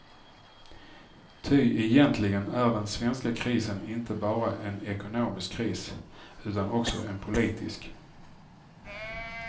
Ty egentligen är den svenska krisen inte bara en ekonomisk kris, utan också en politisk.